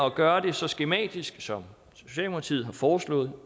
at gøre det så skematisk som socialdemokratiet har foreslået